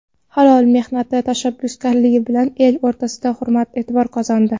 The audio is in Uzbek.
Halol mehnati, tashabbuskorligi bilan el o‘rtasida hurmat-e’tibor qozondi.